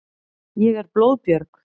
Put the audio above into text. Ég er blóðbjörg.